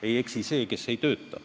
Ei eksi see, kes ei tööta.